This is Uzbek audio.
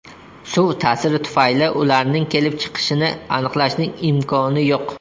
Suv ta’siri tufayli ularning kelib chiqishini aniqlashning imkoni yo‘q.